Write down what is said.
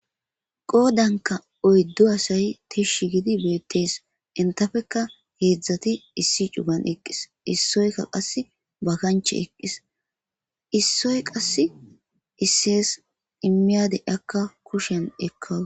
Qoydanika oyddu asay tishi gidi bettes intapeka hedzdzati issi cuggan eqqis issoyika qassi ba kanchi eqqis issoyika qassi isses immiyade akka kushiyan ekawus.